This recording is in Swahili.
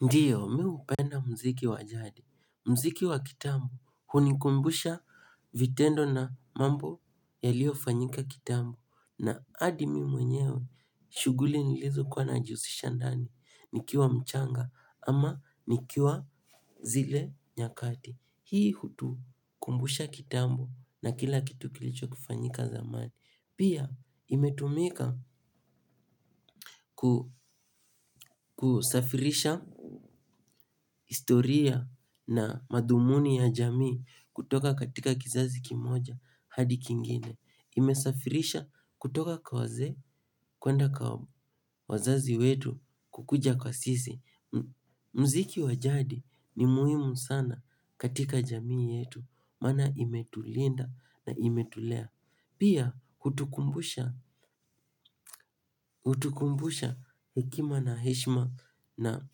Ndiyo, mi hupenda mziki wa jadi, mziki wa kitambo, hunikumbusha vitendo na mambo yaliofanyika kitambo. Na hadi mimi mwenyewe, shuguli nilizo kuwa najihusisha ndani, nikiwa mchanga ama nikiwa zile nyakati. Hii hutukumbusha kitambo na kila kitu kilicho kufanyika zamani. Pia imetumika kusafirisha historia na madhumuni ya jamii kutoka katika kizazi kimoja hadi kingine. Imesafirisha kutoka kwa wazee kwenda kwa wazazi wetu kukuja kwa sisi. Mziki wa jadi ni muhimu sana katika jamii yetu maana imetulinda na imetulea. Pia hutukumbusha hekima na heshima na